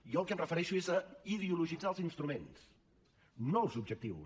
jo al que em refereixo és a ideologitzar els instruments no els objectius